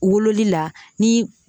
Wololi la ni